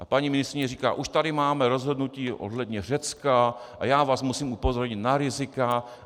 A paní ministryně říká: Už tady máme rozhodnutí ohledně Řecka a já vás musím upozornit na rizika.